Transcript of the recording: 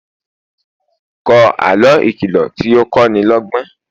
kò àlọ ìkìlọ tí o ko ni lógbón